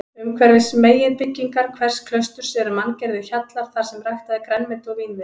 Umhverfis meginbyggingar hvers klausturs eru manngerðir hjallar þarsem ræktað er grænmeti og vínviður.